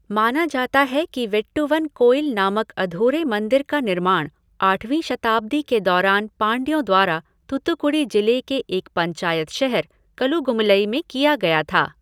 माना जाता है कि वेट्टुवन कोइल नामक अधूरे मंदिर का निर्माण आठवीं शताब्दी के दौरान पांड्यों द्वारा थूथुक्कुडी जिले के एक पंचायत शहर कलुगुमलई में किया गया था।